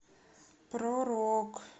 про рок